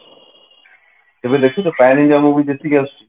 ଏବେ ଦେଖୁଛ south India movie ଯେତିକି ଆସୁଛି